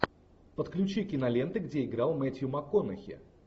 подключи киноленты где играл мэтью макконахи